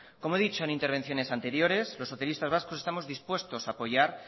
como he dicho en intervenciones anteriores los socialistas vascos estamos dispuestos a apoyar